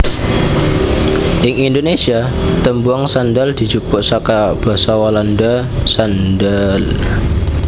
Ing Indonésia tembung sandal dijupuk saka basa Walanda sandaal